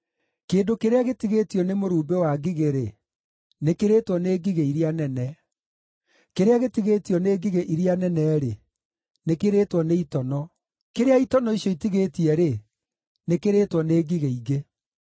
Kĩndũ kĩrĩa gĩtigĩtio nĩ mũrumbĩ wa ngigĩ-rĩ, nĩkĩrĩtwo nĩ ngigĩ iria nene; kĩrĩa gĩtigĩtio nĩ ngigĩ iria nene-rĩ, nĩkĩrĩtwo nĩ itono; kĩrĩa itono icio itigĩtie-rĩ, nĩkĩrĩtwo nĩ ngigĩ ingĩ.